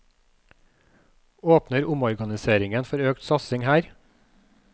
Åpner omorganiseringen for økt satsing her?